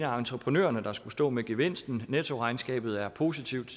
entreprenørerne der skal stå med gevinsten nettoregnskabet er positivt